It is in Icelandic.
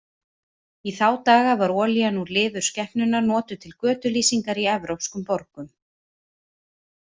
Í þá daga var olían úr lifur skepnunnar notuð til götulýsingar í evrópskum borgum.